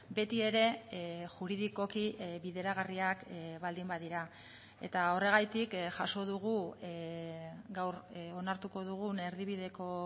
beti ere juridikoki bideragarriak baldin badira eta horregatik jaso dugu gaur onartuko dugun erdibideko